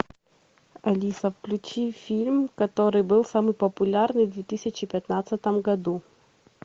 алиса включи фильм который был самый популярный в две тысячи пятнадцатом году